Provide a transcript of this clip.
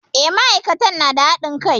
E, ma'aikatan na da haɗin kai.